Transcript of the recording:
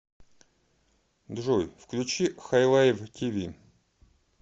джой включи хайлайв ти ви